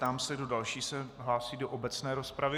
Ptám se, kdo další se hlásí do obecné rozpravy.